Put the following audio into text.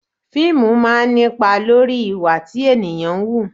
Fíìmù máa ń ní ipa lórí ìwà tí ènìyàn ń wù